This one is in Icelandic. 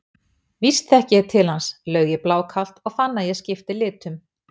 Víst þekki ég til hans, laug ég blákalt og fann að ég skipti litum.